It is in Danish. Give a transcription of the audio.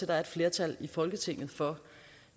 der er et flertal i folketinget for